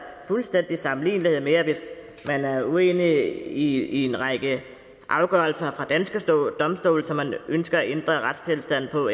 fuldstændig sammenlignelighed med at hvis man er uenig i en række afgørelser fra danske domstole som man ønsker at ændre retstilstanden på